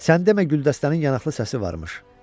Sən demə Güldəstənin yanaqlı səsi varmış.